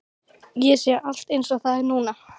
Ég sé allt einsog það er núna.